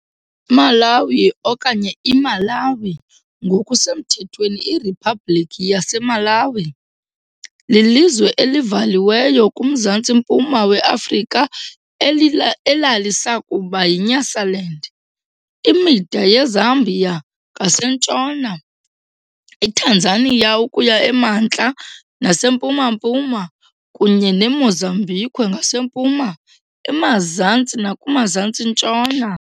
Malawi okanye, IMalaŵi, ngokusemthethweni iRiphabhlikhi yaseMalawi, lilizwe elivaliweyo kuMzantsi-mpuma weAfrika elalisakuba yiNyasaland. Imida yeZambia ngasentshona, iTanzania ukuya emantla nasempuma-mpuma, kunye neMozambique ngasempuma, emazantsi nakumazantsi-ntshona.